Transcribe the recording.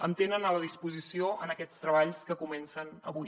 em tenen a la disposició per a aquests treballs que comencen avui